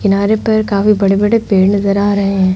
किनारे पर काफी बड़े बड़े पेड़ नज़र आ रहे हैं।